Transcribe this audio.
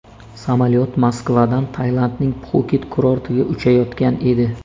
Samolyot Moskvadan Tailandning Pxuket kurortiga uchayotgan edi.